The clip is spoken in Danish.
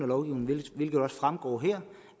lovgivningen hvilket også fremgår her